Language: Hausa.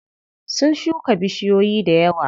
Sun shuka bishiyoyi dayawa.